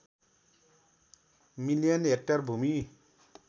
million hectare भूमि